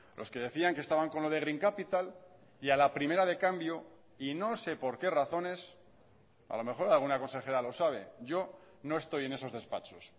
los que decían que estaban con lo de green capital y a la primera de cambio y no se por qué razones a lo mejor alguna consejera lo sabe yo no estoy en esos despachos